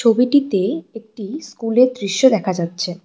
ছবিটিতে একটি স্কুলের দৃশ্য দেখা যাচ্ছে।